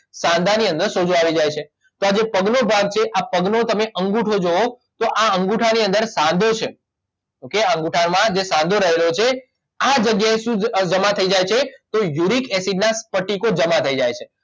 સાંધાની અંદર સોજો આવી જાય છે તો આ જે પગનો ભાગ છે આ પગનો તમે અંગૂઠો જૂઓ તો આ અંગૂઠા ની અંદર સાંધો છે એ અંગૂઠામાં જે સાંધો રહેલો છે આ જગ્યાએથી જ અ જમા થઇ જાય છે તો યુરિક એસિડના સ્ફટિકો જમા થઇ જાય છે